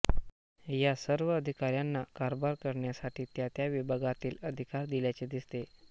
या सर्व अधिकाऱ्यांना कारभार करण्यासाठी त्या त्या विभागातील अधिकार दिल्याचे दिसते